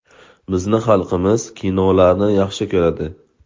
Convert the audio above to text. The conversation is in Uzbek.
Bizni xalqimiz kinolarni yaxshi ko‘radi.